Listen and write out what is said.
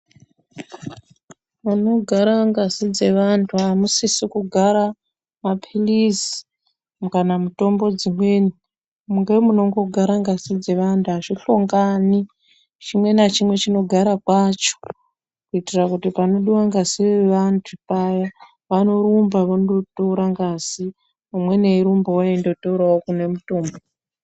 Panogara ngazi dzevantu amusisi kugara maphirizi kana mutombo dzimweni ,ngemunongo gara ngazi dzevantu azvihlongani chimwe nachimwe chinogara kwacho kuitira kuti panodiwa ngazi nevantu paya vanorumba vondotora ngazi ,umweni eirumbawo eindotorawo kune mutombo.